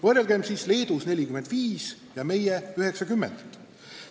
Võrrelgem siis: Leedus 45 ja meil 90 eurot!